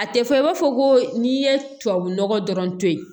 A tɛ fɔ i b'a fɔ ko n'i ye tubabu nɔgɔ dɔrɔn to yen